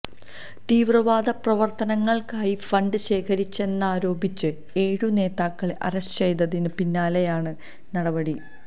തീവ്രവാദ പ്രവർത്തനങ്ങൾക്കായി ഫണ്ട് ശേഖരിച്ചെന്നാരോപിച്ച് ഏഴു നേതാക്കളെ അറസ്റ്റ് ചെയ്തതിന് പിന്നാലെയാണ് നടപടി